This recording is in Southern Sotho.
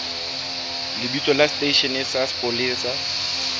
lebitso la seteishene sa mapolesa